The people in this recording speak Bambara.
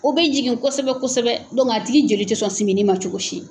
O bɛ jigin kosɛbɛ kosɛbɛ a tigi joli tɛ sɔn simini ma cogo si.